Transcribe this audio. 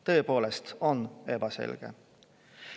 Tõepoolest on see ebaselge.